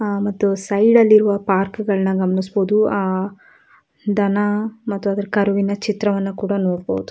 ಅಹ್ ಅಹ್ ಮತ್ತು ಸೈಡ್ ಅಲ್ಲಿ ಇರುವ ಪಾರ್ಕ್ ಅನ್ನು ಗಮನಿಸಬಹುದು ಅಹ್ ಧನ ಮತ್ತು ಕರುವಿನ ಚಿತ್ರ ಕೂಡ ನೋಡಬಹುದು.